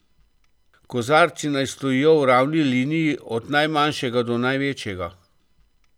Kozarci naj stojijo v ravni liniji od najmanjšega do največjega.